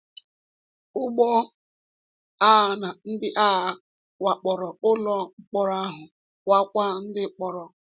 Ụgbọ agha na ndị agha wakporo ụlọ mkpọrọ ahụ, wakwa ndị mkpọrọ.